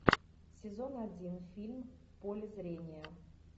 сезон один фильм в поле зрения